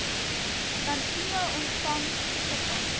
tantième ontvang toegeval